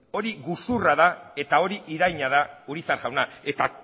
hori gezurra da hori iraina da urizar jauna eta